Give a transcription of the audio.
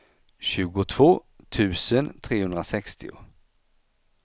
tjugotvå tusen trehundrasextio